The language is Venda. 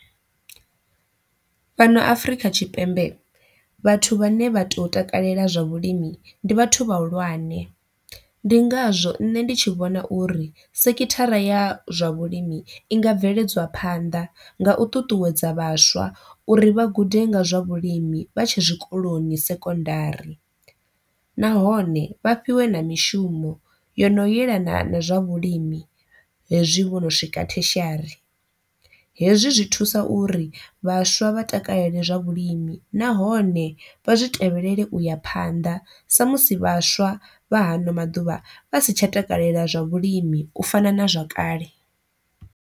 Fhano Afrika Tshipembe vhathu vhane vha to takalela zwa vhulimi ndi vhathu vhahulwane, ndi ngazwo nṋe ndi tshi vhona uri sekithara ya zwa vhulimi i nga bveledzwa phanḓa nga u ṱuṱuwedza vhaswa uri vha gude nga zwa vhulimi vhatshe zwikoloni sekondari. Nahone vha fhiwe na mishumo yo no yelana na zwa vhulimi hezwi vho no swika theshiari, hezwi zwi thusa uri vhaswa vha takalele zwa vhulimi nahone vha zwi tevhelele uya phanḓa sa musi vhaswa vha hano maḓuvha vha si tsha takalela zwa vhulimi u fana na zwakale.